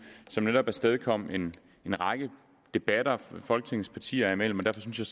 som netop afstedkom en række debatter folketingets partier imellem derfor synes jeg